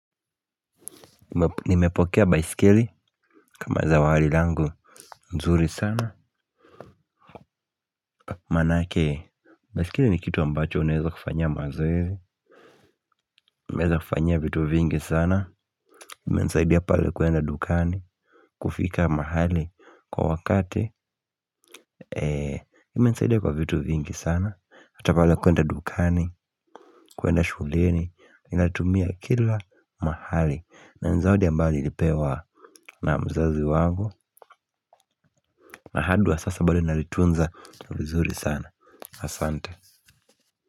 Nimepokea baiskeli kama zawadi langu. Nzuri sana. Manake baiskeli ni kitu ambacho unaeza kufanyia mazoezi. Unaeza kufanyia vitu vingi sana imenisaidia pale kuenda dukani. Kufika mahali kwa wakati imenisaidia kwa vitu vingi sana. Hata pale kuenda dukani. Kuenda shuleni. Ninatumia kila mahali. Na ni zawadi ambayo nilipewa. Na mzazi wangu. Na hadi wa sasa bado nalitunza. Vizuri sana. Asante.